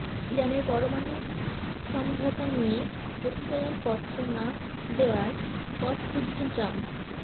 ইরানের পরমাণু সমঝোতা নিয়ে প্রত্যয়নপত্র না দেয়ার পথ খুঁজছেন ট্রাম্প